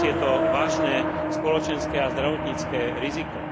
Dnes je to vážne spoločenské a zdravotnícke riziko.